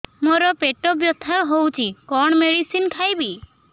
ମୋର ପେଟ ବ୍ୟଥା ହଉଚି କଣ ମେଡିସିନ ଖାଇବି